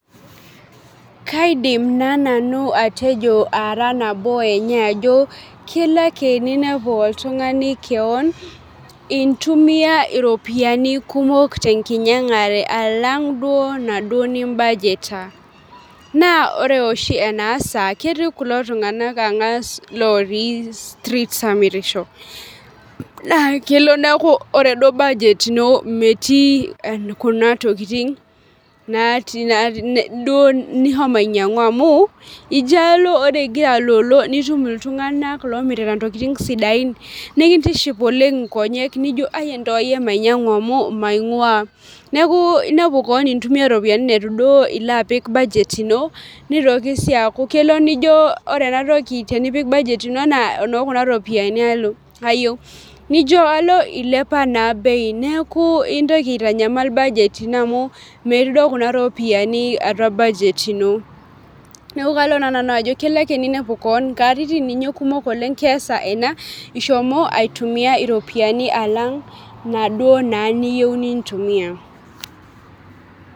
Kaidim naa manu atejo ara nabo enye kelo ake ninepu oltung'ani keon intumia iropiani kumok tenkinyang'are alang' duo naaduo nii budget aa. Naa ore oshi ena bae naasa ketii ko tung'anak ang'as looti streets amirisho naa kelo neeku ore duo budget ino meeti kuna tokitin duo nihomo ninyangu amu ino alo ore igira aloolo nitum iltung'ana lomirifa intokitin sidain nikintiship oleng' nijo ntok akeyie. Mainyangu amuu maing'ua neeku inepu keon intumia ropiani neetu duo ilo apik budget ino nitoki sii aku ore ena toki tenepik budget anaa eno kuna ropiani alo eyeu nijo alo ilepaa naa bei neeku intoki aitanyamal budget ino amu meeti duo kuna ropiani atua budget ink neeku kalo naaa nanu ajo kelo ake ninepu keon katitin ninye kumok keesa ena ishomo atumia iropiani alang' inaduo naa niyeu nintumia.